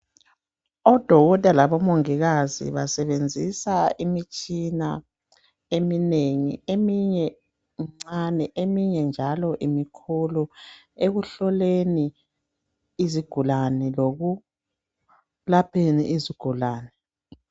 Odokotela labomongikazi basebenzisa imitshina eminengi eminye imincane eminye njalo imikhulu ekuhloleni lokulapheni izigulani.